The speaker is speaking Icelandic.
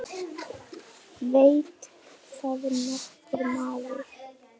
Veit það nokkur maður?